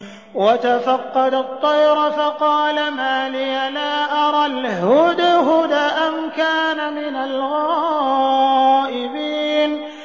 وَتَفَقَّدَ الطَّيْرَ فَقَالَ مَا لِيَ لَا أَرَى الْهُدْهُدَ أَمْ كَانَ مِنَ الْغَائِبِينَ